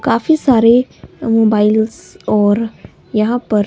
काफी सारे मोबाइल्स और यहां पर--